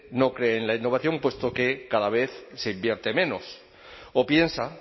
no cree en la innovación puesto que cada vez se invierte menos o piensa